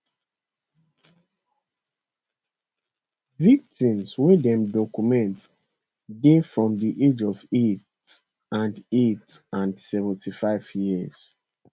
victims wey dem document dey from di age of eight and eight and 75 years